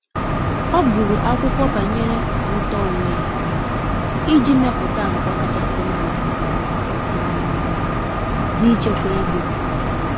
ọ guru akwụkwo banyere ụto onwe iji meputa àgwà kachasi mma um n'ichekwa oge.